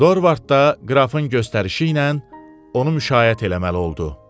Dorvarda qrafın göstərişi ilə onu müşayiət eləməli oldu.